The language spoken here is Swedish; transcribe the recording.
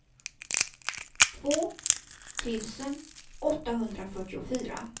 två tusen åttahundrafyrtiofyra